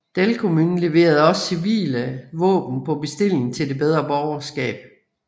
Delcomyn leverede også civile våben på bestilling til det bedre borgerskab